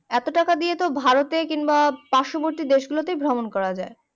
এতো টাকা দিয়ে তো ভারতে কিংবা পার্শবর্তী দেশগুলোতেই ভ্রমণ করা যায়